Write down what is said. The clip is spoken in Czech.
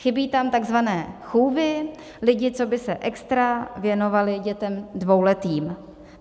Chybí tam tzv. chůvy, lidi, co by se extra věnovali dětem dvouletým.